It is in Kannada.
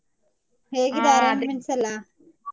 Arrangements ಎಲ್ಲಾ?